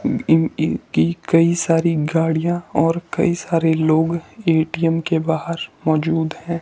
इन इन इनकी कई सारी गाड़ियाँ और कई सारे लोग ए_टी_एम के बाहर मौजूद हैं।